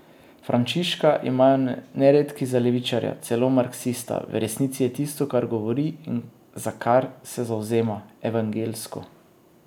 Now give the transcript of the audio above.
Frančiška imajo neredki za levičarja, celo marksista, v resnici je tisto, kar govori in za kar se zavzema, evangeljsko.